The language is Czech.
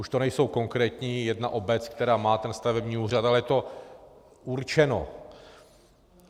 Už to není konkrétní jedna obec, která má ten stavební úřad, ale je to určeno.